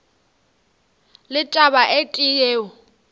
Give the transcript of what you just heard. le taba e tee yeo